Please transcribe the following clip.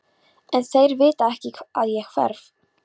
En þeir vita ekki að ég hverf.